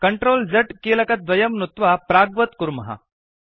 CTRL Z कीलकद्वयं नुत्वा प्राग्वत् कुर्मः